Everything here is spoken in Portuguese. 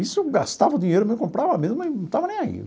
Nisso eu gastava o dinheiro, eu comprava mesmo, e não estava nem aí.